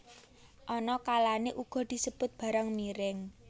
Ana kalané uga disebut barang miring